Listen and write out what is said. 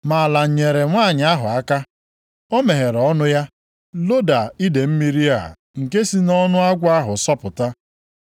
Ma ala nyeere nwanyị ahụ aka. O meghere ọnụ ya loda idee mmiri a nke si nʼọnụ agwọ ahụ sọpụta.